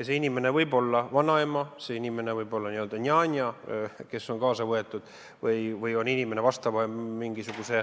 See inimene võib olla vanaema, see inimene võib olla n-ö njanja, kes on kaasa võetud, või mingisuguse